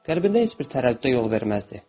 Qəlbində heç bir tərəddüdə yol verməzdi.